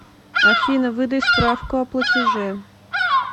афина выдай справку о платеже